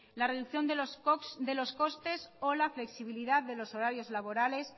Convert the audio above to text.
la reducción de los costes o la flexibilidad de los horarios laborales